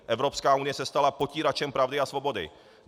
Evropská unie se stala potíračem pravdy a svobody.